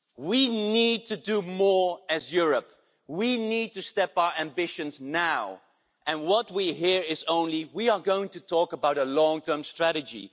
We need to do more as Europe, we need to step up our ambitions now and what we hear is only we are going to talk about a long term strategy'.